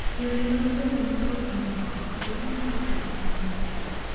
Yore mag bedo motuo kinde koth: iring kose iwuoth?